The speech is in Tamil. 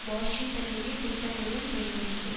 வாஷிங்டனுடைய திட்டங்களுடன் பிணைந்துள்ளது